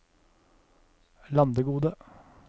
Landegode